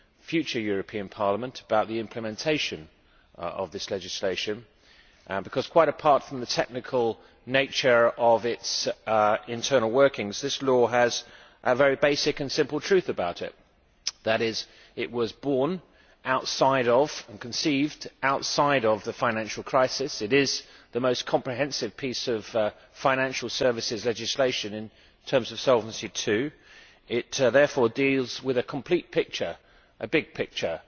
future European Parliament, concerning implementation of this legislation, because quite apart from the technical nature of its internal workings, this law has a very basic and simple truth about it it was borne outside of and conceived outside of the financial crisis and is the most comprehensive piece of financial services legislation in terms of Solvency II. It deals, therefore, with a complete picture the big picture